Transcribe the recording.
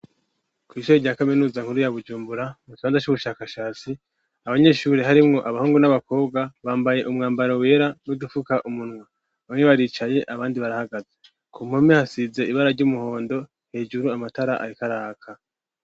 Kw'ishure rya kaminuza nkuru ya Bujumbura mu kibanza c'ubushakashatsi abanyeshuri harimwo abahungu n'abakobwa bambaye umwambaro wera n'udufuka umunwa bamwe baricaye abandi barahagaze, ku mpome hasize ibara ry'umuhondo, hejuru amatara ariko araka.